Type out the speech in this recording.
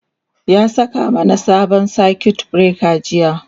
ya saka mana sabon circuit breaker jiya